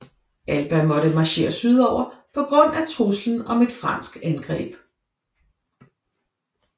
Alba måtte marchere sydover på grund af truslen om et fransk angreb